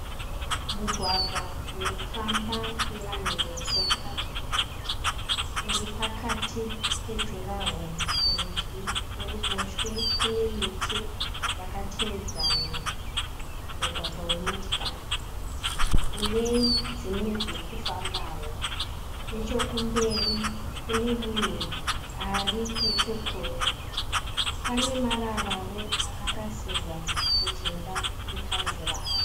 Mugwagwa unofamba nevanhu vetsoka. Uripakati pejuraworo kurudyi, kuruboshwe kunemiti dzakatevedzana. Mugwagwa wemotikari unedzimwe dzirikufambawo. Nechokumberi kunemunhu ari nechekure. Panemararawo akarasirwa mujinga mekanzira aka.